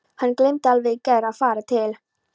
Hann gleymdi alveg í gær að fara til